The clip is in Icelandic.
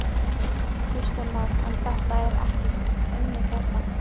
Kristján Már: En þetta er ekkert unnið hérna?